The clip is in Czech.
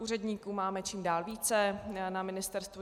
Úředníků máme čím dál více na ministerstvu.